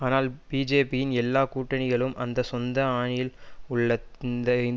ஆனால் பிஜேபியின் எல்லா கூட்டணிகளும் அதன் சொந்த அணியில் உள்ள இந்து